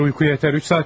Bu qədər yuxu yetər.